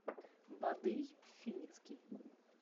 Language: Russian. бадый финицкий